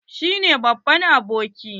Shi ne babban aboki?